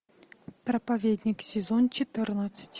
проповедник сезон четырнадцать